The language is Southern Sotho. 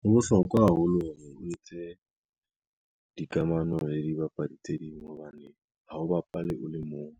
Ho bohlokwa haholo hore o etse, dikamano le dibapadi tse ding hobane ha o bapale o le mong